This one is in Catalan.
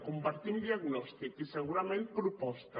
compartim diagnòstic i segurament proposta